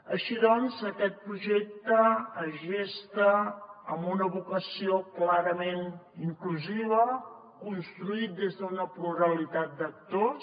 així doncs aquest projecte es gesta amb una vocació clarament inclusiva construït des d’una pluralitat d’actors